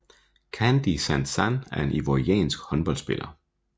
Candide Zanzan er en ivoriansk håndboldspiller